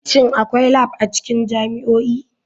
Shin akwai lab a cikin jami'o'i?